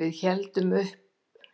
Við héngum upp